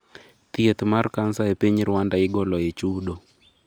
thieth mar cancer e piny Rwanda igolo e chudo